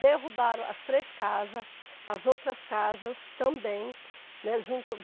Derrubaram as três casas, as outras casas também, né. Junto